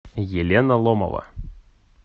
елена ломова